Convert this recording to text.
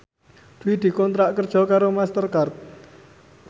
Dwi dikontrak kerja karo Master Card